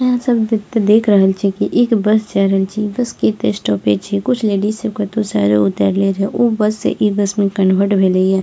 आहां सब एते देख रहल छीये की एक बस जाय रहल छै इ बस के एता स्टॉपेज छीये कुछ लेडिज सब कतो से उतरले रहे ओ बस से इ बस में कन्वर्ट भेेले ये ।